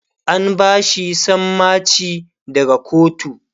an bashi sammaci daga kotu